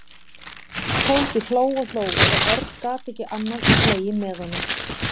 Tóti hló og hló og Örn gat ekki annað en hlegið með honum.